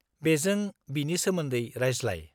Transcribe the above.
-बेजों बिनि सोमोन्दै रायज्लाय।